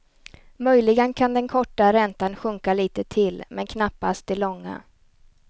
Möjligen kan den korta räntan sjunka lite till, men knappast de långa.